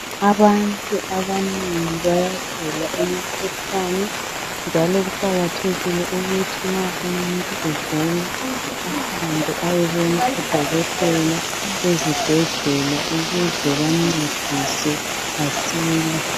Abantu abanengi bayagula imikhuhlane njalo kuqakathekile ukuthi nxa umuntu egula ahambe ayebona odokotela ezibhedlela ukuze bamncedise asile.